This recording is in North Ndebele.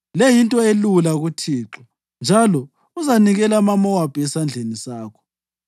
Le yinto elula kuThixo, njalo uzanikela amaMowabi esandleni sakho.